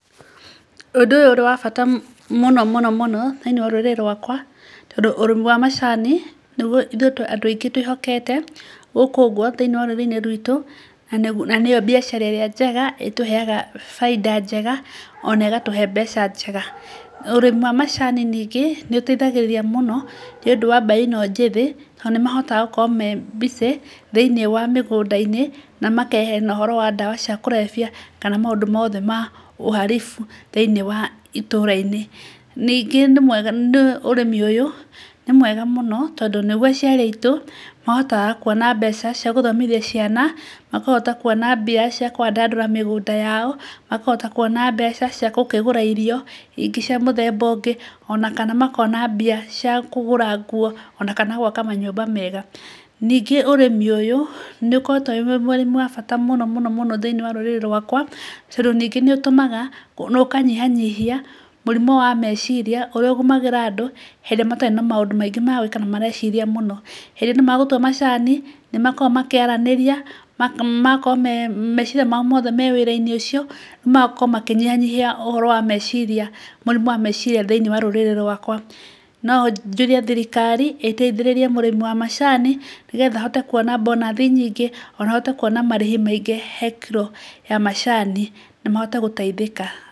Ũndũ ũyũ ũrĩ wa bata mũno mũno mũno thĩinĩ wa rũrĩrĩ rwakwa tondũ ũrĩmi wa macani nĩguo ithuĩ andũ aingĩ twĩhokete gũkũ ũguo thĩinĩ wa rũrĩrĩ rwitũ na nĩyo biacara ĩrĩa njega ĩtũheaga baita njega ona ĩgatũhe mbeca njega. Na ũrĩmi wa macani ningĩ nĩ ũteithagĩrĩria mũno nĩ ũndũ wa mbeũ ĩno njĩthĩ tondũ nĩ mahotaga gũkorwo me busy thĩinĩ wa mĩgũnda-inĩ na makeyeheria na ũhoro wa ndawa cia kũrebia kana maũndũ mothe ma uhalifu thĩinĩ wa itũra-inĩ. Ningĩ ũrĩmi ũyũ nĩ mwega mũno tondũ nĩguo aciari aitũ mahotaga kuona mbeca cia gũthomithia ciana, makahota kuona mbia cia kũandandũra mĩgũnda yao, makahota kuona mbeca cia gũkĩgũra irio ingĩ cia mũthemba ũngĩ ona kana makona mbia cia kũgũra nguo ona kana gũaka manyũmba mega. Ningĩ ũrĩmi ũyũ nĩ ũkoretwo ũrĩ wa bata mũno thĩinĩ wa rũrĩrĩ rwakwa tondũ ningĩ nĩ ũtũmaga ona ũkanyihanyihia mũrimũ wa meciria ũrĩa ũgũmagĩra andũ hĩndĩ ĩrĩa matarĩ na maũndũ maingĩ ma gwĩka na mareciria mũno. Hĩndĩ ĩyo nĩ magũtua macani, nĩ makoragwo makĩaranĩria, magakorwo meciria mao mothe me wĩra-inĩ ũcio, na magakorwo makĩnyihanyihia ũhoro wa mecirĩa mũrimũ wa mecirĩa thĩinĩ wa rũrĩrĩ rwakwa. No njũrie thirikari ĩteithĩririe mũrĩmi wa macani nĩgetha ahote kuona bonus nyingĩ ona ahote kuona marĩhi maingi he kĩro ya macani na mahote gũteithĩka.